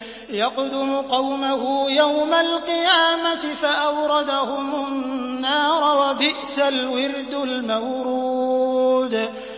يَقْدُمُ قَوْمَهُ يَوْمَ الْقِيَامَةِ فَأَوْرَدَهُمُ النَّارَ ۖ وَبِئْسَ الْوِرْدُ الْمَوْرُودُ